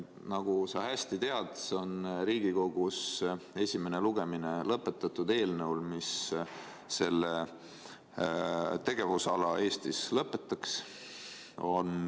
Nagu sa hästi tead, on Riigikogus esimese lugemise läbinud eelnõu, mis selle tegevusala Eestis lõpetaks.